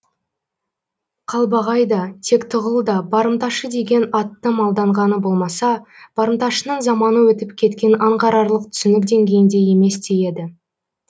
қалбағай да тектіғұл да барымташы деген атты малданғаны болмаса барымташының заманы өтіп кеткенін аңғарарлық түсінік деңгейінде емес те еді